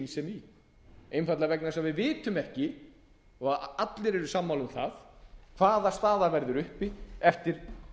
skynsemi í einfaldlega vegna þess að við vitum ekki og allir eru sammála um það hvaða staða verður uppi eftir